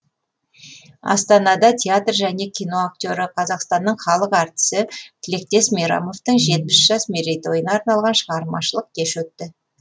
астанада театр және кино актері қазақстанның халық әртісі тілектес мейрамовтың жетпіс жас мерейтойына арналған шығармашылық кеш өтті